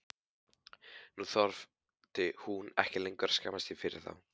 Nú þurfti hún ekki lengur að skammast sín fyrir þá.